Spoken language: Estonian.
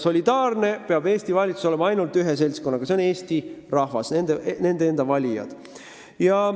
Solidaarne peab valitsus olema ainult ühe seltskonnaga – see on Eesti rahvas, nende enda valijad.